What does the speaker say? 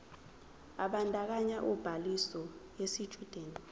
ebandakanya ubhaliso yesitshudeni